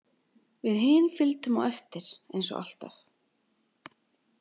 Við hin fylgdum á eftir eins og alltaf.